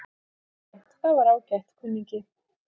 Jæja, það var ágætt, kunningi.